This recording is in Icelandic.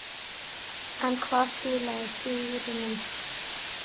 En hvað skilaði sigrinum.